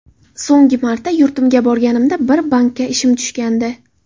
So‘nggi marta yurtimga borganimda bir bankka ishim tushgandi.